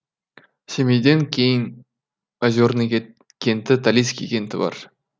семейден кейін озерный кенті талицкий кенті бар